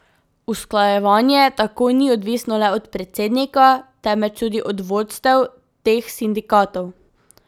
Usklajevanje tako ni odvisno le od predsednika, temveč tudi od vodstev teh sindikatov.